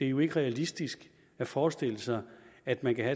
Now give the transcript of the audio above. jo ikke realistisk at forestille sig at man kan